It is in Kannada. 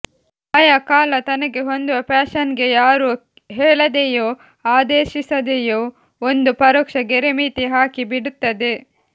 ಆಯಾ ಕಾಲ ತನಗೆ ಹೊಂದುವ ಫ್ಯಾಶನ್ಗೆ ಯಾರೂ ಹೇಳದೆಯೂ ಆದೇಶಿಸದೆಯೂ ಒಂದು ಪರೋಕ್ಷ ಗೆರೆಮಿತಿ ಹಾಕಿ ಬಿಡುತ್ತದೆ